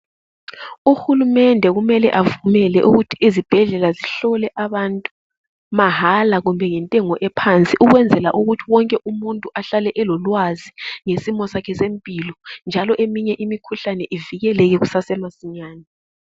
Uhulumende kumele avumele ukuthi izibhedlela zihlole abantu mahala kumbe ngentengo ephansi ukwenzela ukuthi wonke umuntu ahlale elolwazi ngesimo sakhe sempilo njalo eminye imikhuhlane ivikeleke kusasemasinyane.